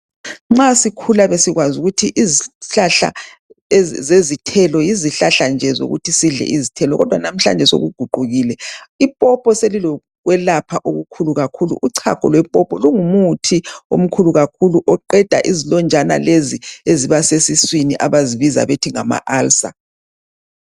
Nxa sikhula besikwazi ukuthi izihlahla zezithelo yizihlahla nje zokuthi sidle izithelo kodwa ke namhlanje sokuguqukile, ipopo selilokwelaoha okukhulu kakhulu. Uchago lwepopo lungumuthi omkhulu kakhulu oqeda izilonjana lezi eziba sesiswini abazibiza bethi ngamaulcer.